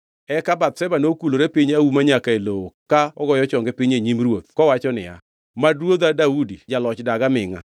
Eka Bathsheba nokulore piny auma nyaka e lowo ka ogoyo chonge piny e nyim ruoth kowacho niya, “Mad ruodha Daudi Jaloch dag amingʼa!”